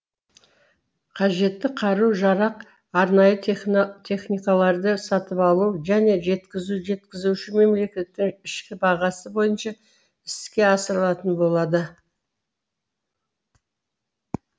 қажетті қару жарақ арнайы техникаларды сатып алу және жеткізу жеткізуші мемлекеттің ішкі бағасы бойынша іске асырылатын болады